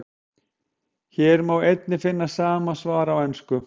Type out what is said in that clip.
Hér má einnig finna sama svar á ensku.